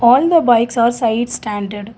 all the bikes are side standed.